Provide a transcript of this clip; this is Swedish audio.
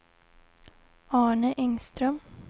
Arne Engström